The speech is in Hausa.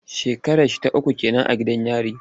Shekararsa ta uku ke nan a gidan yari.